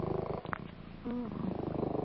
ਆਹੋ